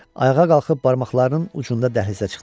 Ayağa qalxıb barmaqlarının ucunda dəhlizə çıxdı.